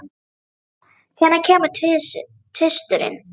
Dorothea, hvenær kemur tvisturinn?